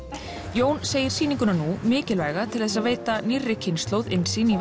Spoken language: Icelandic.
Jón segir sýninguna nú mikilvæga til að veita nýrri kynslóð innsýn